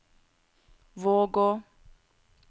Vågå